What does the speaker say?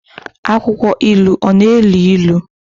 Akwụkwọ ilu ọ na-elu ilu?